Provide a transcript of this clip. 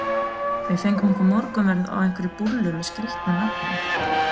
Við fengum okkur morgunverð á einhverri búllu með skrítnu nafni.